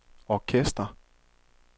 orkester